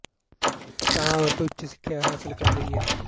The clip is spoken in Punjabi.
ਤਾਂ ਔਰਤ ਉੱਚ ਸਿੱਖਿਆ ਹਾਸਿਲ ਕਰ ਰਹੀ ਹੈ